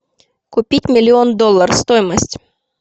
купить миллион доллар стоимость